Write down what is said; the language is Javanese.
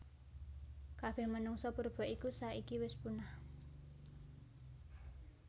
Kabeh menungsa purba iku saiki wis punah